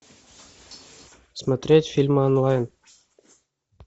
смотреть фильмы онлайн